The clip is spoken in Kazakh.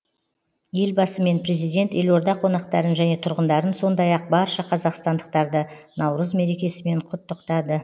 елбасы мен президент елорда қонақтарын және тұрғындарын сондай ақ барша қазақстандықтарды наурыз мерекесімен құттықтады